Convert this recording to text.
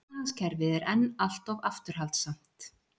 Efnahagskerfið er enn allt of afturhaldssamt